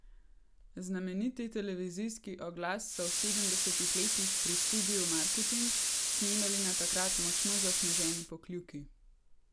Znameniti televizijski oglas so v sedemdesetih letih pri Studiu Marketing snemali na takrat močno zasneženi Pokljuki.